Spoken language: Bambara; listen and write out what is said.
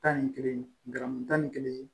Tan ni kelen garamu tan ni kelen